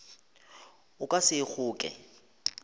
o ka se e kgoke